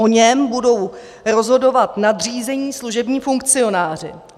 O něm budou rozhodovat nadřízení služební funkcionáři.